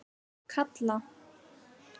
Kalla